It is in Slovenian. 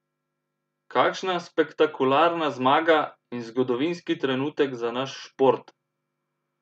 Kakšna spektakularna zmaga in zgodovinski trenutek za naš šport!